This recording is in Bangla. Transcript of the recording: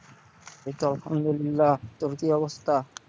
এই তো আলহামদুলিল্লাহ, তোর কি অবস্থা?